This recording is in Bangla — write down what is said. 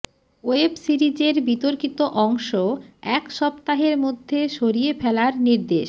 ওয়েব সিরিজের বিতর্কিত অংশ এক সপ্তাহের মধ্যে সরিয়ে ফেলার নির্দেশ